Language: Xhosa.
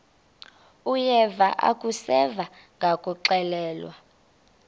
uyeva akuseva ngakuxelelwa